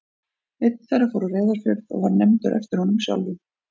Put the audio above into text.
Einn þeirra fór á Reyðarfjörð og var nefndur eftir honum sjálfum.